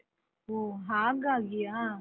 ಹೊ ಹಾಗಾಗಿಯಾ?